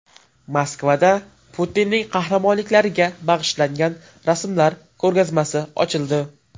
Moskvada Putinning qahramonliklariga bag‘ishlangan rasmlar ko‘rgazmasi ochildi .